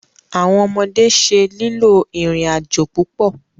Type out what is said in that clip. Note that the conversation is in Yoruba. Awọn ọmọde ṣe lilo irin-ajo pupọ